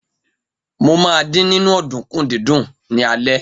Mo ma dín nínú ọ̀dùnkún dídún ní alẹ́.